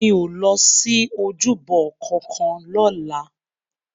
Mi ó lòsi ójúbò kànkàn lòlá